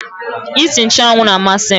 Nsị nchụ́anwu na amasị m